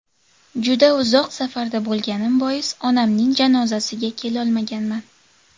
Juda uzoq safarda bo‘lganim bois, onamning janozasiga kelolmaganman.